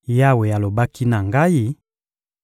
Yawe alobaki na ngai: